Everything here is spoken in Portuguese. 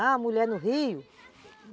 Ah, a mulher no rio?